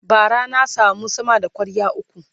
bara na samu sama da kwarya ukwu